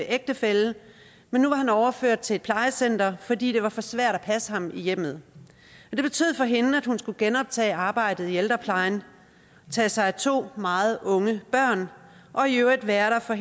ægtefælle men nu var han overført til et plejecenter fordi det var for svært at passe ham i hjemmet det betød for hende at hun skulle genoptage arbejdet i ældreplejen tage sig af to meget unge børn og i øvrigt være der for